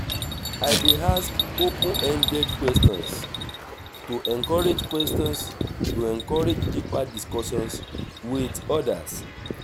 i dey ask open-ended questions to encourage questions to encourage deeper discussions with others